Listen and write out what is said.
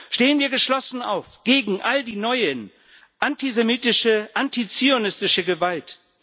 Stehen wir geschlossen auf gegen all die neue antisemitische, antizionistische Gewalt!